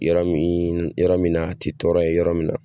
Yɔrɔ min yɔrɔ min na a tɛ tɔɔrɔ ye yɔrɔ min na.